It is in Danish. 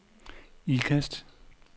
Ikast